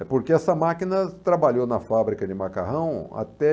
É porque essa máquina trabalhou na fábrica de macarrão até